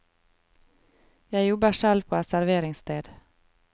Jeg jobber selv på et serveringssted.